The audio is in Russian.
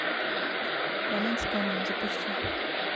роман с камнем запусти